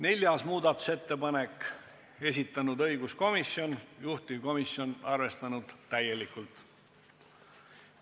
4. muudatusettepaneku on esitanud õiguskomisjon, juhtivkomisjon on seda arvestanud täielikult.